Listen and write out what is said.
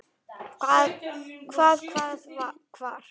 Hvað. hvað. hvar.